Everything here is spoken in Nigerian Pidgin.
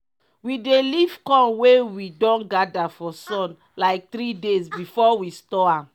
we dey leave corn wey we don gather for sun like three days before we store am.